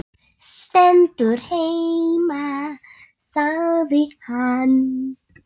Stendur heima sagði hann.